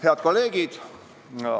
Head kolleegid!